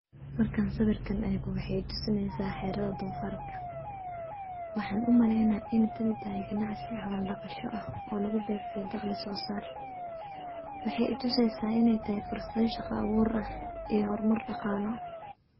markaan sawirkaan eego wexey itusaanaysaa xeerado doofarka. Waxaan u maleynaya in tani tahay ganacsi xola dhagasho ah oo lagu beegsaday dag dhisoo sar. Waxay ituseysaa in ay tahay fursa shaqo abuur ah iyo horumar dhaqaalo.